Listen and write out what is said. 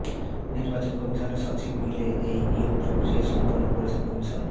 নির্বাচন কমিশন সচিব মিলে এই নিয়োগ প্রক্রিয়া সম্পন্ন করেছেন কমিশন